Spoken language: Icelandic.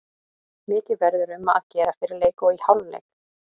Mikið verður um að gera fyrir leik og í hálfleik.